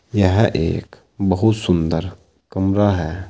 यह एक बहुत सुंदर कमरा है।